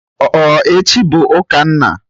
Ọ echi bụ ụka nna?